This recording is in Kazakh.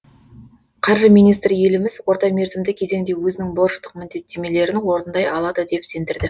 қаржы министрі еліміз орта мерзімді кезеңде өзінің борыштық міндеттемелерін орындай алады деп сендірді